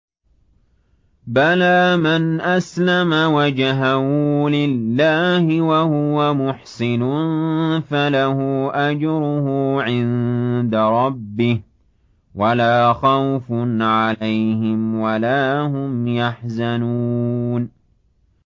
بَلَىٰ مَنْ أَسْلَمَ وَجْهَهُ لِلَّهِ وَهُوَ مُحْسِنٌ فَلَهُ أَجْرُهُ عِندَ رَبِّهِ وَلَا خَوْفٌ عَلَيْهِمْ وَلَا هُمْ يَحْزَنُونَ